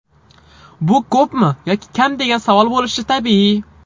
Bu ko‘pmi yoki kam degan savol bo‘lishi tabiiy.